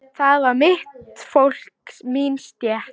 Það var mitt fólk, mín stétt.